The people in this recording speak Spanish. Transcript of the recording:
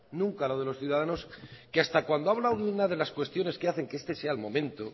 nunca lo de los ciudadanos que hasta cuando a hablado de una de las cuestiones que hacen que este sea el momento